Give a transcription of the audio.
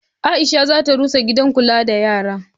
Aisha za ta rusa gidan kula da yara.